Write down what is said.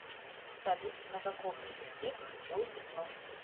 салют на каком языке слепое пятно